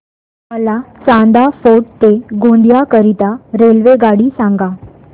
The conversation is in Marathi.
मला चांदा फोर्ट ते गोंदिया करीता रेल्वेगाडी सांगा